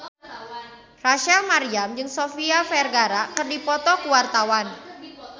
Rachel Maryam jeung Sofia Vergara keur dipoto ku wartawan